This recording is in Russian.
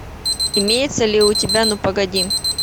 имеется ли у тебя ну погоди